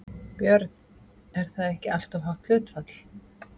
Björn: Er það ekki alltof hátt hlutfall?